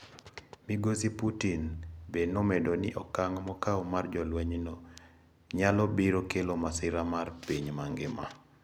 Migosi Putin be nomedo ni okang` mokaw mar jolweny no nyalo biro kelo masira mar piny mangima.